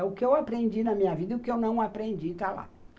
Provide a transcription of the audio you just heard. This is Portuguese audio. É o que eu aprendi na minha vida e o que eu não aprendi está lá.